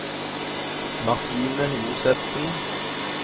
Martine Josefsen